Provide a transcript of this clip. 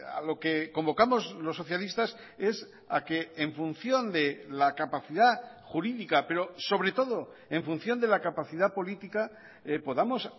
a lo que convocamos los socialistas es a que en función de la capacidad jurídica pero sobre todo en función de la capacidad política podamos